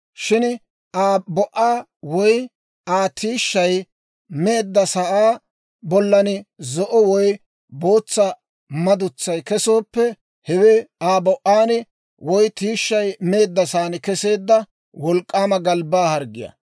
Shin Aa bo"aa woy Aa tiishshay meeddasaa bollan zo'o woy bootsa madutsay kesooppe, hewe Aa bo"aan woy tiishshay meeddasaan keseedda wolk'k'aama galbbaa harggiyaa.